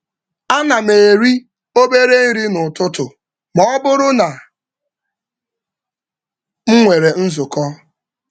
Ánám eri obere nri n'ụtụtụ mọbụrụ na m nwèrè nzukọ